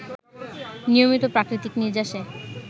নিয়মিত প্রাকৃতিক নির্যাসে